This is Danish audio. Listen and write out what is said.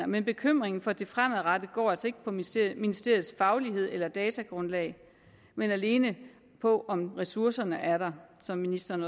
men bekymringen for det fremadrettede går altså ikke på ministeriets ministeriets faglighed eller datagrundlag men alene på om ressourcerne er der som ministeren